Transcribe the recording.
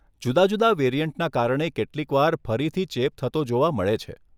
જુદા જુદા વેરિયન્ટના કારણે કેટલીકવાર ફરીથી ચેપ થતો જોવા મળે છે.